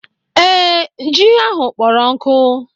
Ee, ji ahụ kpọrọ nkụ.